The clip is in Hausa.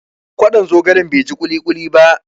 Kwaɗon zogalen bai ji kuli kuli ba.